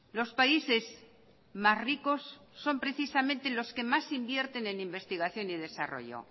los países más ricos son precisamente los que más invierten en investigación y desarrollo